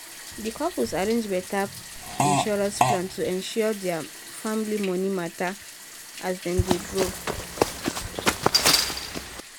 di couple arrange better insurance plan to secure their family money matter as dem dey grow.